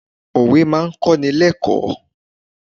Òwe máa kọ́ni lẹ́kọ̀ọ̀.